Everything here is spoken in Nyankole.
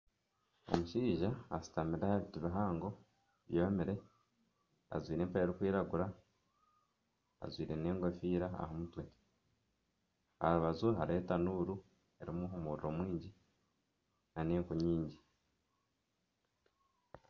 Omushaija ashutamire aha biti bihango byomire ajwaire empare erikwiragura ajwaire n'enkofiira aha mutwe aha rubaju hariho etanuuru erimu omuriro mwingi nana enku nyingi.